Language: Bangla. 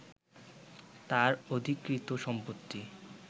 তার অধিকৃত সম্পত্তি